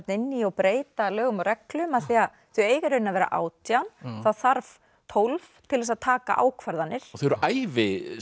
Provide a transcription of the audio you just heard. inn í og breyta lögum og reglum af því þau eiga í raun að vera átján það þarf tólf til að taka ákvarðanir og þau eru æviskipuð